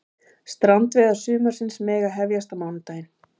Strandveiðar sumarsins mega hefjast á mánudaginn